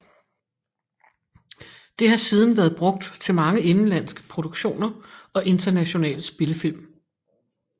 Det har siden været brugt til mange indenlandske produktioner og internationale spillefilm